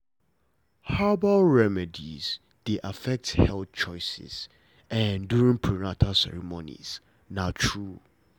herbal remedies dey affect health choices during prenatal ceremonies na true